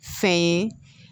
Fɛn ye